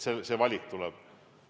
See valimine tuleb.